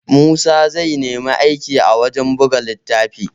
Musa zai nemi aiki a wajan buga littafi